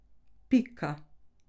Pika.